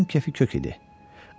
Fiksin keyfi kök idi.